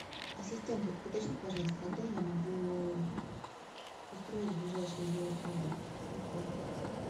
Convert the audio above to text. ассистент уточни пожалуйста когда я могу устроить ближайшие велопрогулки в отеле